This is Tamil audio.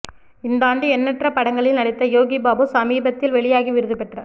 இந்தாண்டு எண்ணெற்ற படங்களில் நடித்த யோகி பாபு சமீபத்தில் வெளியாகி விருது பெற்ற